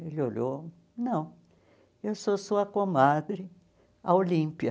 Ele olhou, não, eu sou sua comadre, a Olímpia.